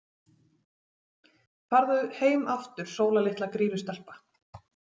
Farðu heim aftur Sóla litla Grýlustelpa.